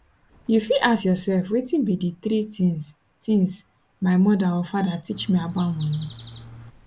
you fit ask yourself wetin be di three tins tins my mother or father teach me about money